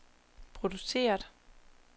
produceret